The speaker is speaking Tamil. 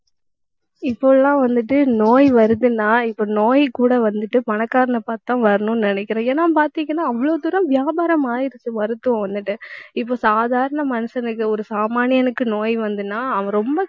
இப்போ எல்லாம் வந்துட்டு நோய் வருதுன்னா இப்ப நோய் கூட வந்துட்டு பணக்காரனை பார்த்துத்தான் வரணும்ன்னு நினைக்கிறேன். ஏன்னா பார்த்தீங்கன்னா அவ்வளவு தூரம் வியாபாரம் ஆயிடுச்சு மருத்துவம் வந்துட்டு இப்ப சாதாரண மனுஷனுக்கு ஒரு சாமானியனுக்கு நோய் வந்ததுன்னா அவன் ரொம்ப